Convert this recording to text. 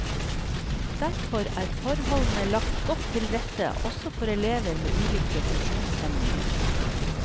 Derfor er forholdene lagt godt til rette også for elever med ulike funksjonshemninger.